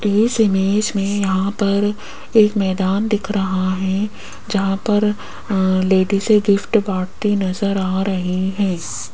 इस इमेज में यहां पर एक मैदान दिख रहा है जहां पर अ लेडीसे गिफ्ट बांटती नजर आ रही है।